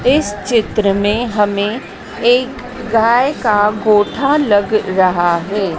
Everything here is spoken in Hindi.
इस चित्र मे हमें एक गाय का गोठा लग रहा है।